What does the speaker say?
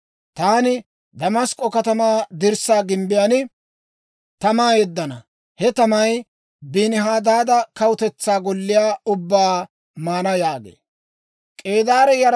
Taani Damask'k'o katamaa dirssaa gimbbiyaan tamaa yeddana; he tamay Benihadaada kawutetsaa golliyaa ubbaa maana» yaagee.